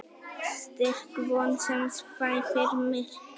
Styrk von sem svæfir myrkrið.